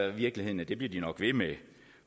i virkeligheden at de bliver ved med